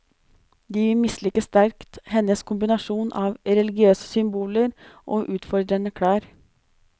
De misliker sterkt hennes kombinasjon av religiøse symboler og utfordrende klær.